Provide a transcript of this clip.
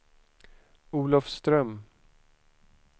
Olofström